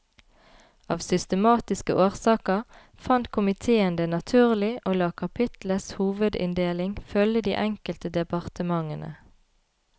Av systematiske årsaker fant komiteen det naturlig å la kapitlets hovedinndeling følge de enkelte departementene.